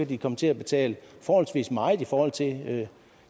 de komme til at betale forholdsvis meget i forhold til